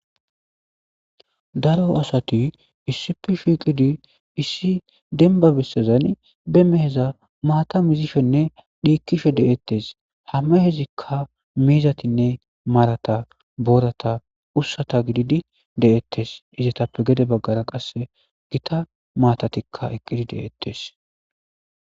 daro asati issipee shiiqidi issi denba bessazani be meheza maata mizisfhenne dhiikkishe de7ettes hame hezikka miizatinne maarata boorata ussata gididi de7ettes izatappe gede baggara qasse gita maatatikka eqqidi deettes